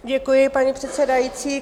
Děkuji, paní předsedající.